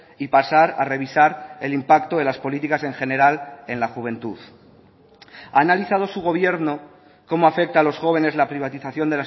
y pasar a revisar el impacto de las políticas en general en la juventud ha analizado su gobierno cómo afecta a los jóvenes la privatización